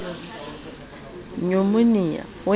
nyumonia ho e na le